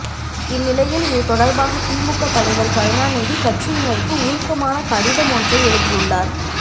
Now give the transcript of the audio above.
இந்நிலையில் இது தொடர்பாக திமுக தலைவர் கருணாநிதி கட்சியினருக்கு உருக்கமான கடிதம் ஒன்றை எழுதியுள்ளார்